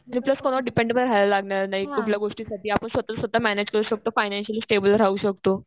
आणि प्लस कोणावर डिपेंड राहावं लग्नासार नाही कुठल्याही गोष्टीसाठी आपण स्वतःच स्वतः मॅनेज करू शकतो. फानांचीयालय स्टेबल राहू शकतो.